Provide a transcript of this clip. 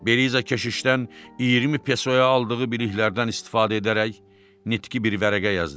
Beliza keşişdən 20 pesoya aldığı biliklərdən istifadə edərək, nitqi bir vərəqə yazdı.